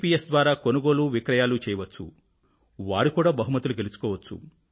yes ద్వారా కొనుగోలువిక్రయాలు చేయవచ్చు మరియు వారు కూడా బహుమతులు గెలుచుకోవచ్చు